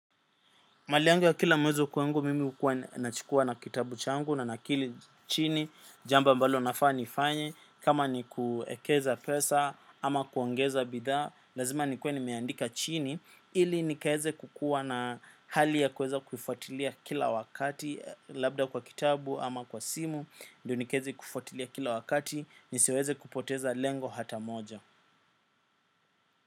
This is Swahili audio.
Mali yangu ya kila mwezi kwangu mimi hukuwa nachukuwa na kitabu changu na nakili chini, jambo ambalo nafaa nifanye, kama ni kuekeza pesa ama kuongeza bidhaa, lazima ni kuwe nimeandika chini, ili nikaweze kukuwa na hali ya kueza kufuatilia kila wakati, labda kwa kitabu ama kwa simu, ndio nikaweze kufuatilia kila wakati, nisiweze kupoteza lengo hata moja.